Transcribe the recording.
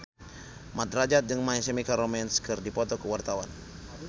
Mat Drajat jeung My Chemical Romance keur dipoto ku wartawan